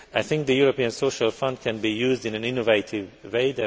I think that the European Social Fund can be used in an innovative way